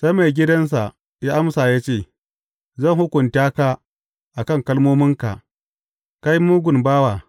Sai maigidansa, ya amsa ya ce, Zan hukunta ka a kan kalmominka, kai mugun bawa!